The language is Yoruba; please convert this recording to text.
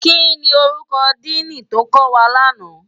Kini órúkò dìní tó kòwá làná?